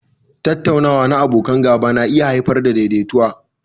Tattaunawa na abokan gaba na iya haifar da daidaituwa.